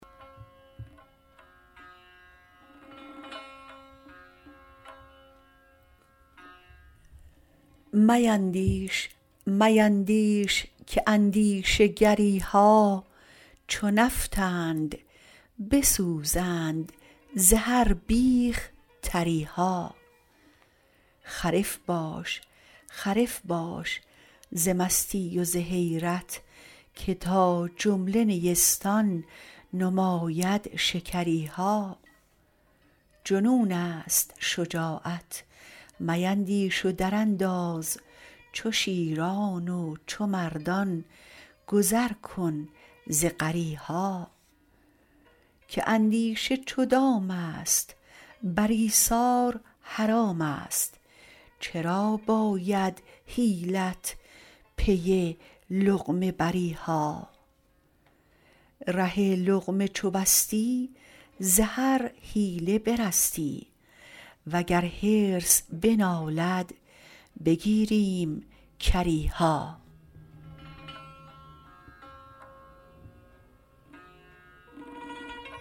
میندیش میندیش که اندیشه گری ها چو نفطند بسوزند ز هر بیخ تری ها خرف باش خرف باش ز مستی و ز حیرت که تا جمله نیستان نماید شکری ها جنونست شجاعت میندیش و درانداز چو شیران و چو مردان گذر کن ز غری ها که اندیشه چو دامست بر ایثار حرامست چرا باید حیلت پی لقمه بری ها ره لقمه چو بستی ز هر حیله برستی وگر حرص بنالد بگیریم کری ها